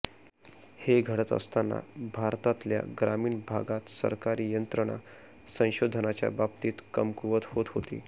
हे घडत असताना भारतातल्या ग्रामीण भागात सरकारी यंत्रणा संशोधनाच्या बाबतीत कमकुवत होत होती